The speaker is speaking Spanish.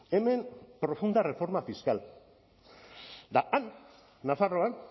hemen profunda reforma fiscal eta han nafarroan